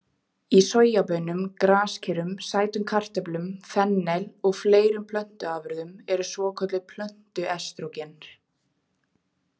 Í sojabaunum, graskerum, sætum kartöflum, fennel og fleiri plöntuafurðum eru svokölluð plöntuestrógen.